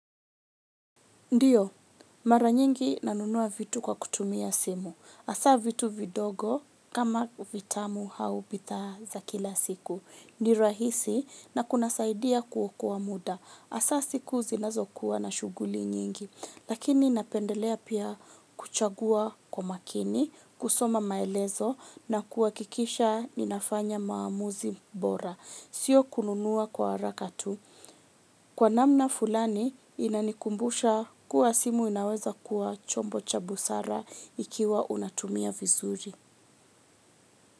Ndiyo, mara nyingi nanunua vitu kwa kutumia simu. Hasaa vitu vidogo kama vitamu au bidhaa za kila siku. Ni rahisi na kunasaidia kuokoa muda. Hasa siku zinazokuwa na shuguli nyingi. Lakini napendelea pia kuchagua kwa makini, kusoma maelezo na kuhakikisha ninafanya maamuzi bora. Sio kununua kwa haraka tu. Kwa namna fulani inanikumbusha kuwa simu inaweza kuwa chombo cha busara ikiwa unatumia vizuri.